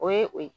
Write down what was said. O ye o ye